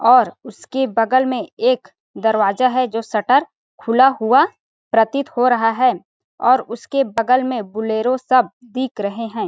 और उसके बगल में एक दरवाजा है जो शटर खुला हुआ प्रतीत हो रहा है और उसके बगल में बुलेरो सब दिख रहे है।